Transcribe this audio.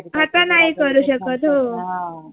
अस आता नाही करू शकत हो